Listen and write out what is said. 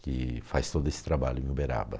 que faz todo esse trabalho em Uberaba.